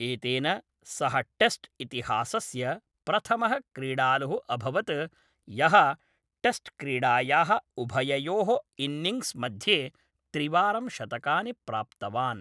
एतेन सः टेस्ट् इतिहासस्य प्रथमः क्रीडालुः अभवत् यः टेस्ट् क्रीडायाः उभययोः इन्निङ्ग्स् मध्ये त्रिवारं शतकानि प्राप्तवान्।